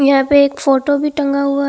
यहां पे एक फोटो भी टंगा हुआ--